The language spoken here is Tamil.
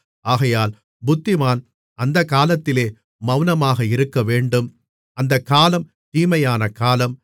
ஆகையால் புத்திமான் அந்தக்காலத்திலே மௌனமாக இருக்கவேண்டும் அந்தக்காலம் தீமையான காலம்